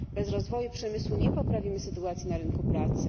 Bez rozwoju przemysłu nie poprawimy sytuacji na rynku pracy.